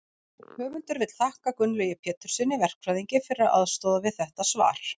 höfundur vill þakka gunnlaugi péturssyni verkfræðingi fyrir aðstoð við þetta svar